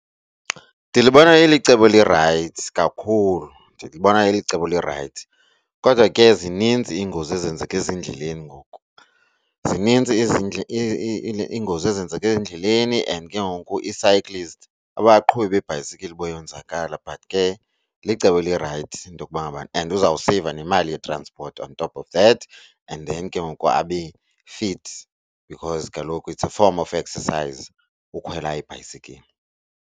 Ndilibona ilicebo elirayithi kakhulu, ndilibona ilicebo elirayithi kodwa ke zininzi iingozi ezenzeka ezindleleni ngoku. Zinintsi izingozi ezenzeka ezindleleni and ke ngoku ii-cyclists abaqhubi beebhayisikili bayonzakala. But ke licebo elirayithi into yokuba ngabana and uzawuseyiva nemali yetranspoti on top of that and then ke ngoku abe fit because kaloku it's a form of exercise ukhwela ibhayisikili.